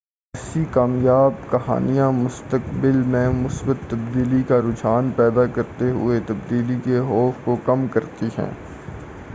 ایسی کامیاب کہانیاں مستقبل میں مثبت تبدیلی کا رجحان پیدا کرتے ہوئے تبدیلی کے خوف کو کم کرتی ہیں